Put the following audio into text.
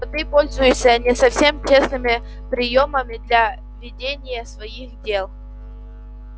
но ты пользуешься не совсем честными приёмами для ведения своих дел